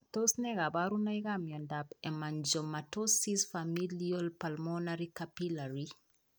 Tos ne kaborunoikap miondop hemangiomatosis, familial pulmonary capillary?